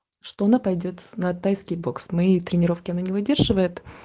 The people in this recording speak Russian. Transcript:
что она пойдёт на тайский бокс моей тренировки она не выдерживает